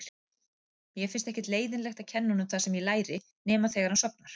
Mér finnst ekkert leiðinlegt að kenna honum það sem ég læri nema þegar hann sofnar.